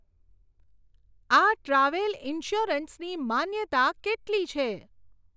આ travel insurance ની માન્યતા કેટલી છે ?